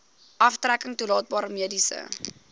aftrekking toelaatbare mediese